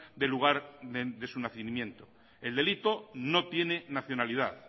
del lugar de su nacimiento el delito no tiene nacionalidad